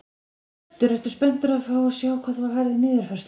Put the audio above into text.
Hjörtur: Ertu spenntur að fá að sjá hvað þú færð í niðurfærslu?